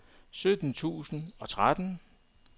sytten tusind og tretten